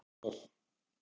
Í fimm ár.